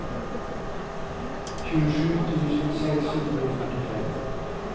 tjuesju tusen seks hundre og førtifem